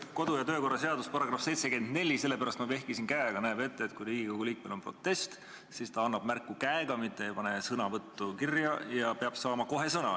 Kodu- ja töökorra seaduse § 74 näeb ette, et kui Riigikogu liikmel on protest, siis ta annab märku käega, mitte ei pane sõnavõttu kirja, ja ta peab kohe sõna saama.